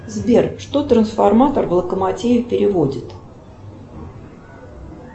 сбер что трансформатор в локомотиве переводит